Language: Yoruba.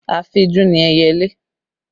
Afínjú ni ẹyẹlé